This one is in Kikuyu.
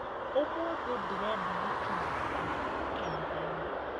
mũthĩ ndĩrenda gũkinya tene kanitha-inĩ